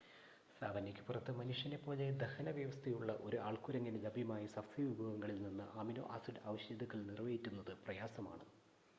സാവന്നയ്ക്ക് പുറത്ത് മനുഷ്യനെപ്പോലെ ദഹനവ്യവസ്ഥയുള്ള ഒരു ആൾക്കുരങ്ങിന് ലഭ്യമായ സസ്യ വിഭവങ്ങളിൽ നിന്ന് അമിനോ ആസിഡ് ആവശ്യകതകൾ നിറവേറ്റുന്നത് പ്രയാസമാണ്